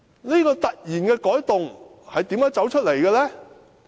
這個突然的改動是從何而來呢？